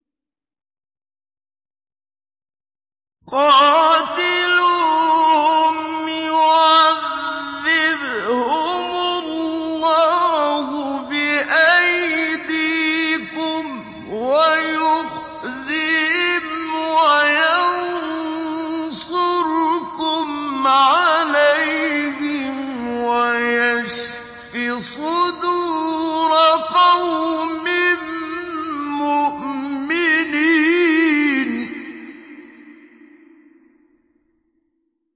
قَاتِلُوهُمْ يُعَذِّبْهُمُ اللَّهُ بِأَيْدِيكُمْ وَيُخْزِهِمْ وَيَنصُرْكُمْ عَلَيْهِمْ وَيَشْفِ صُدُورَ قَوْمٍ مُّؤْمِنِينَ